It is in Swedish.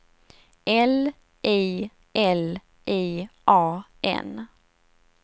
L I L I A N